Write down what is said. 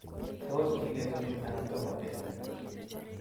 Tos, kigetunin anan Tomo kentunin?